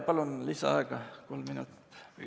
Palun lisaaega kolm minutit!